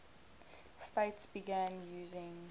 states began using